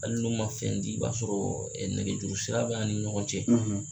Hali n'u ma fɛn di i b'a sɔrɔ ɛ nɛgɛ juruu sira b'an ni ɲɔgɔn cɛ